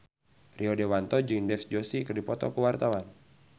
Rio Dewanto jeung Dev Joshi keur dipoto ku wartawan